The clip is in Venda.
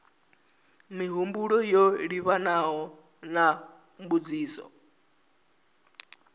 mihumbulo yo livhanaho na mbudziso